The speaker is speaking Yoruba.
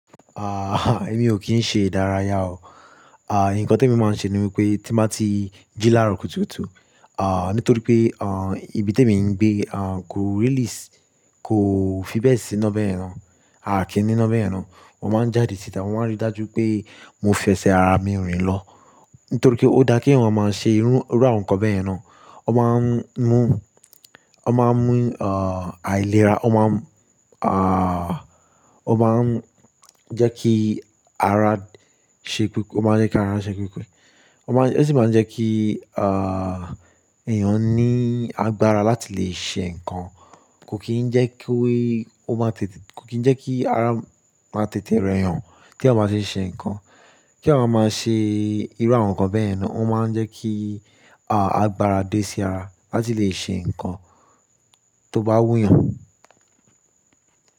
À, èmi ò kí ń ṣe ìdárayá o. À, ǹkan tèmi máa ń ṣe ni wípé tí n bá ti jí láàrọ̀ kùtùkùtù, à, nítorí pé, à, ibi tèmi ń gbé, à, kò really s, kò fi bẹ́ẹ̀ síná bẹ́yẹn náà, àá kí n níná bẹ́yẹn náà. Mo máa ń jáde síta, mo máa ń rí dájú pé mo fẹsẹ̀ ara mi rìn lọ. Nítorí pé ó daá kèèyàn wá máa ṣe irú, irú àwọn nǹkan bẹ́yẹ̀n náà. Ó máa ń mú, ó máa ń mú, à, àìlera. Ó máa ń mú, à, ó máa ń jẹ́ kí ara ṣekú, ó máa ń jẹ́ kára ṣekúkú. Ó máa ń, ó sì máa ń jẹ́ kí, à, èèyàn ní agbára láti lè ṣe nǹkan. Kò kí ń jẹ́ kówè ó máa tètè, kò kí ń jẹ́ kí ara máa tètè rẹyàn tèèyàn bá ti ń ṣe nǹkan. Kí àwọn máa ṣe irú àwọn nǹkan bẹ́yẹ̀n náà ó máa ń jẹ́ kí, à, agbára dé sí ara láti lè ṣe nǹkan tó bá wúyàn.